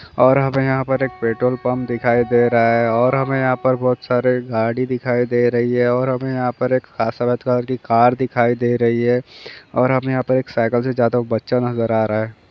और हमे यहाँ पर एक पेट्रोल पंप दिखाई दे रहा है और हमें यहाँ पर बहुत सारे गाड़ी दिखाई दे रही है और हमें यहाँ पर एक की एक कार दिखाई दे रही है और हमे यहाँ पर एक साइकल से जाता हुआ एक बच्चा नजर आ रहा है।